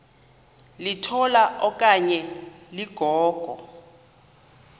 litola okanye ligogo